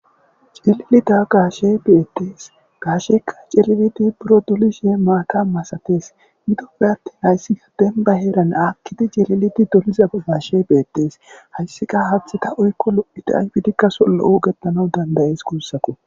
Cililida gaashe beettees gaasheka cilibeti buro dolishe maata masatees midopeattin hayssika denba heeran akkidi jelilidi doliza gaashe beettees hayssika habhtheta uykko lo7udo aybidikka sollo7u getanau dandayees kuussako.